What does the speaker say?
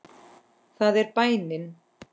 Það er bænin.